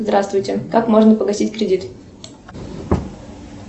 здравствуйте как можно погасить кредит